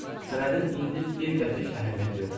Sənədin indi bir qəpik əhəmiyyəti yox idi.